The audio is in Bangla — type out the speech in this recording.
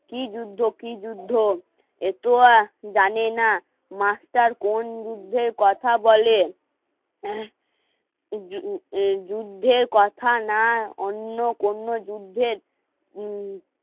কি যুদ্ধ কি যুদ্ধ এত আর জানে না মাস্টার কোন জুদ্ধের কথা বলে যুদ্ধের কথা না অন্য কোনো যুদ্ধের উম